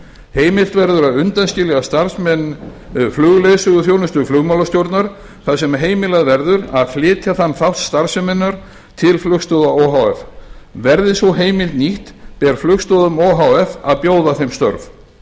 heimilt verður að undanskilja starfsmenn flugleiðsöguþjónustu flugmálastjórnar þar sem heimilað verður að flytja þann þátt starfseminnar til flugstoða o h f verði sú heimild nýtt ber flugstoðum o h f að bjóða þeim störf